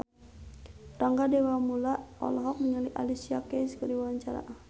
Rangga Dewamoela olohok ningali Alicia Keys keur diwawancara